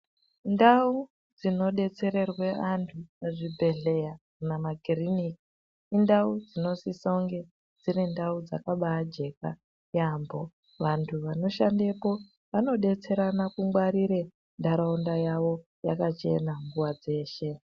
Ndau dzinodetserwerwa antu kumakiriniki kana kuzvibhedhlera indau dzinofana kunge dziri ndau dzakaneka yambo vantu vanoshandako vanodetserana kungwarira ndaraunda yakachena nguwa dzeshe.